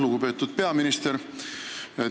Lugupeetud peaminister!